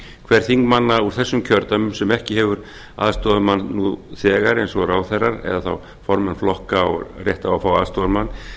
hver þingmanna úr þessum kjördæmum sem ekki hefur aðstoðarmann nú þegar eins og ráðherrar eða þá formenn flokka á rétt á að fá aðstoðarmann